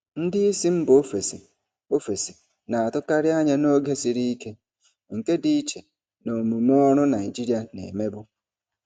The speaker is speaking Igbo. Ndị isi mba ofesi ofesi na-atụkarị anya n'oge siri ike, nke dị iche na omume ọrụ Naijiria na-emebu.